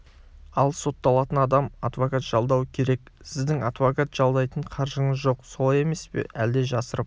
ал сотталатын адам адвокат жалдауы керек сіздің адвокат жалдайтын қаржыңыз жоқ солай емес пе әлде жасырып